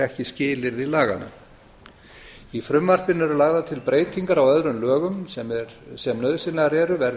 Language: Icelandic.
ekki skilyrði laganna í frumvarpinu er lagðar til breytingar á öðrum lögum sem nauðsynlegar eru verði